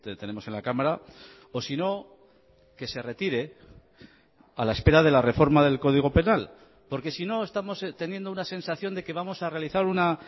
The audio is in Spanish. tenemos en la cámara o sino que se retire a la espera de la reforma del código penal porque sino estamos teniendo una sensación de que vamos a realizar una